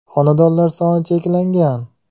Xonadonlar soni cheklangan!